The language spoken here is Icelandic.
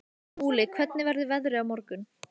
Múli, hvernig verður veðrið á morgun?